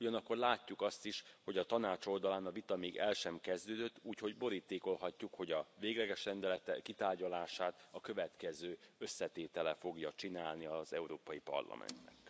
Ugyanakkor látjuk azt is, hogy a Tanács oldalán a vita még el sem kezdődött, úgyhogy borítékolhatjuk, hogy a végleges rendelet kitárgyalását a következő összetétele fogja csinálni az Európai Parlamentnek.